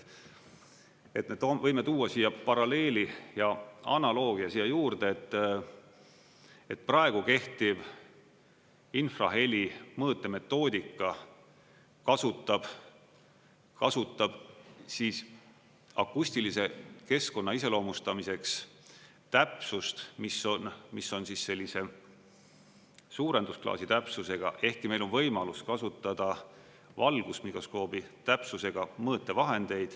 Võime tuua siia paralleeli ja analoogia siia juurde, et praegu kehtiv infraheli mõõtemetoodika kasutab siis akustilise keskkonna iseloomustamiseks täpsust, mis on sellise suurendusklaasi täpsusega, ehkki meil on võimalus kasutada valgusmikroskoobi täpsusega mõõtevahendeid.